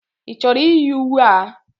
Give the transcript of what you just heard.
Ị chọrọ iyi uwe a?